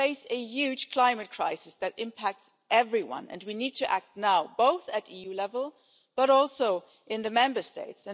We face a huge climate crisis that impacts everyone and we need to act now, both at EU level and also in the Member States.